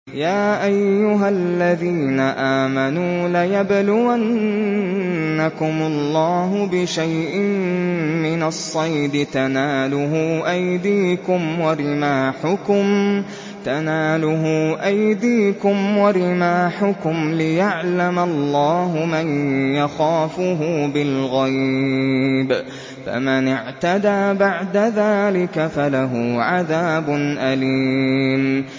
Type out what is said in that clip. يَا أَيُّهَا الَّذِينَ آمَنُوا لَيَبْلُوَنَّكُمُ اللَّهُ بِشَيْءٍ مِّنَ الصَّيْدِ تَنَالُهُ أَيْدِيكُمْ وَرِمَاحُكُمْ لِيَعْلَمَ اللَّهُ مَن يَخَافُهُ بِالْغَيْبِ ۚ فَمَنِ اعْتَدَىٰ بَعْدَ ذَٰلِكَ فَلَهُ عَذَابٌ أَلِيمٌ